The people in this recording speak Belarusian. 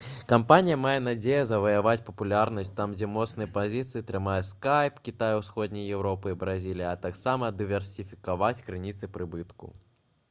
кампанія мае надзею заваяваць папулярнасць там дзе моцныя пазіцыі трымае скайп кітай усходняя еўропа і бразілія а таксама дыверсіфікаваць крыніцы прыбытку